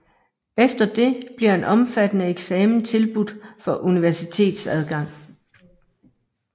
Efter det bliver en omfattende eksamen tilbudt for universitetsadgang